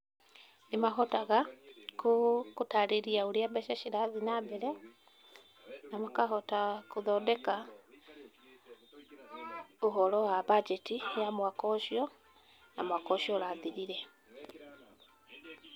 Nĩ mahotaga, kũ, kũtarĩria ũrĩa mbeca cirathi na mbere, na makahota kũthondeka, ũhoro wa mbanjeti ya mwaka ũcio, na mwaka ũcio ũrathirire.